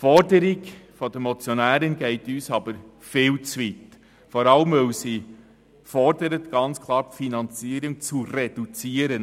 Die Forderung der Motionärin geht uns jedoch viel zu weit, vor allem, weil sie ganz klar fordert, die Finanzierung zu reduzieren.